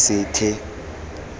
sethe